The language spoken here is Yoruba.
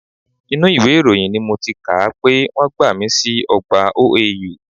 Inú ìwé ìròyìn ni mo ti kà á pé wọ́n ti gbàmi sí ọgbà OAU